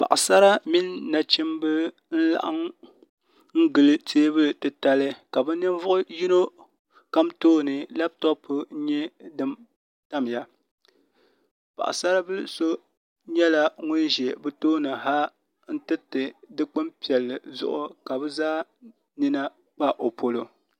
Paɣasara mini nachimbi n laɣam n gili teebuli titali ka bi ka bi ninvuɣu yino kam tooni labtop n nyɛ din tamya paɣasari bili so nyɛla ŋun ʒɛ bi tooni ha n tiriti dikpuni piɛlli zuɣu ka bi zaa nina kpa o polo